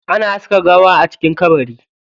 Ana saka gawa a cikin kabari.